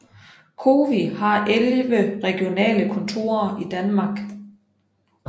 COWI har 11 regionale kontorer i Danmark